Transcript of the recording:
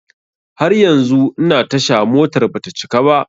Har yanzu ina tasha, motar bata cika ba.